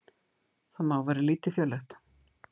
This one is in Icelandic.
Það má vera lítilfjörlegt.